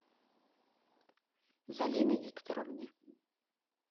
залины викторовны